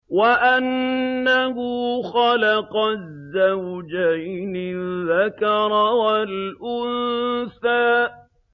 وَأَنَّهُ خَلَقَ الزَّوْجَيْنِ الذَّكَرَ وَالْأُنثَىٰ